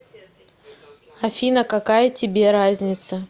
афина какая тебе разница